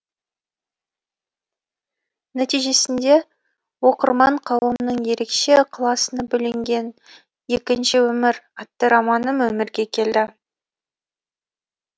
нәтижесінде оқырман қауымның ерекше ықыласына бөленген екінші өмір атты романым өмірге келді